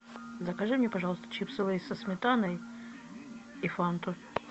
закажи мне пожалуйста чипсы лейс со сметаной и фанту